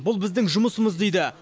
бұл біздің жұмысымыз дейді